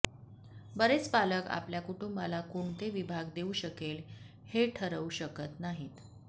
बरेच पालक आपल्या कुटुंबाला कोणते विभाग देऊ शकेल हे ठरवू शकत नाहीत